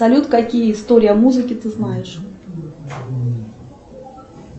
салют какие истории о музыке ты знаешь